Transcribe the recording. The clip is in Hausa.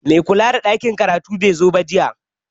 Mai kula da ɗakin karatu bai zo jiya ba